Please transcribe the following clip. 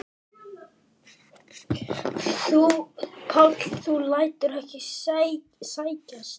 Páll: Þú lætur ekki segjast?